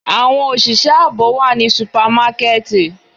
Awọn oṣiṣẹ aabo wa ni supamakẹti